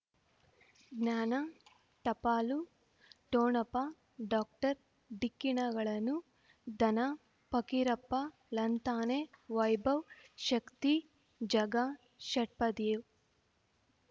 ಜ್ಞಾನ ಟಪಾಲು ಠೊಣಪ ಡಾಕ್ಟರ್ ಢಿಕ್ಕಿ ಣಗಳನು ಧನ ಫಕೀರಪ್ಪ ಳಂತಾನೆ ವೈಭವ್ ಶಕ್ತಿ ಝಗಾ ಷಟ್ಪದಿಯೊ